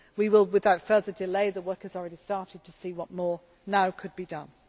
We will move without further delay the work has already started to see what more now could